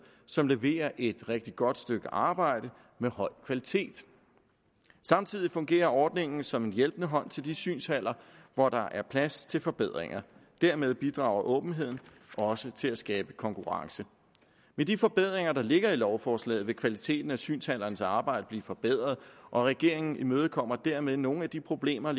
som leverer et rigtig godt stykke arbejde af høj kvalitet samtidig fungerer ordningen som en hjælpende hånd til de synshaller hvor der er plads til forbedringer dermed bidrager åbenheden også til at skabe konkurrence med de forbedringer der ligger i lovforslaget vil kvaliteten af synshallernes arbejde blive forbedret og regeringen imødekommer dermed nogle af de problemer